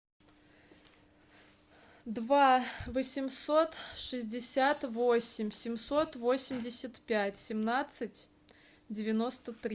два восемьсот шестьдесят восемь семьсот восемьдесят пять семнадцать девяносто три